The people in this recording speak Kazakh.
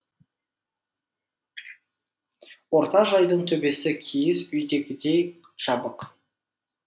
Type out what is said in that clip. орта жайдың төбесі киіз үйдегідей жабық